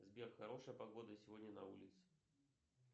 сбер хорошая погода сегодня на улице